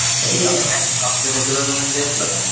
ତମେ ଯାଇଥିଲ ? ହକି ଦେଖିବାକୁ ଯାଇଥିଲ ତମେ ?